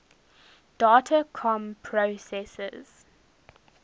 data comm processors